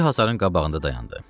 Bir hasarın qabağında dayandı.